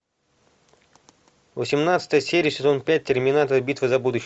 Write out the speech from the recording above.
восемнадцатая серия сезон пять терминатор битва за будущее